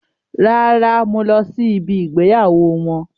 Rárá, mo lọ sí ibí ìgbéyàwó wọn.